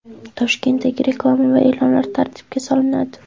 Toshkentdagi reklama va e’lonlar tartibga solinadi.